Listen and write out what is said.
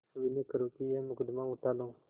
विनय करुँ कि यह मुकदमा उठा लो